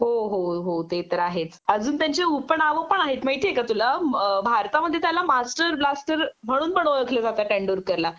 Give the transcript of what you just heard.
हो हो हो ते तर आहेच अजून त्यांची उपनावं पण आहेत माहिती आहे का तुला भारतामध्ये त्याला मास्टर ब्लास्टर म्हणून पण ओळखलं जात तेंदूरकरला